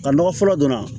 Ka nɔgɔ fɔlɔ don a